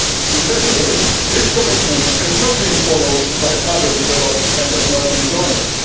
Regrettably, this commitment has not been followed by other developed and emerging donors.